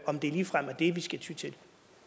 om det ligefrem er det vi skal ty til